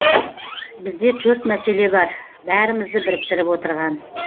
бізде төрт мәселе бар бәрімізді біріктіріп отырған